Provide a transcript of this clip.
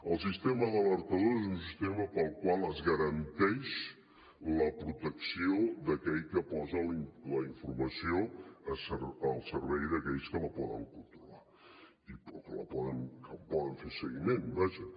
el sistema d’alertadors és un sistema pel qual es garanteix la protecció d’aquell que posa la informació al servei d’aquells que la poden controlar i que en poden fer seguiment vaja